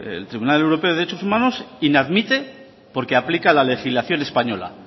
el tribunal europeo de derechos humanos inadmite porque aplica la legislación española